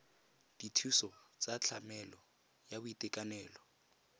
dithuso tsa tlamelo ya boitekanelo